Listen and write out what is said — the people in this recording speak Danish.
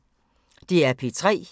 DR P3